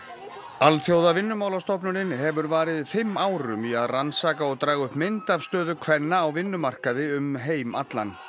Alþjóðavinnumálastofnunin hefur varið fimm árum í að rannsaka og draga upp mynd af stöðu kvenna á vinnumarkaði um heim allan